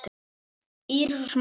Írisar og Smára.